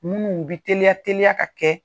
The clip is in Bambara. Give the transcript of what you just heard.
Minnuw bɛ teliya teliya ka kɛ.